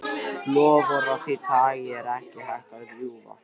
Loforð af því tagi er ekki hægt að rjúfa.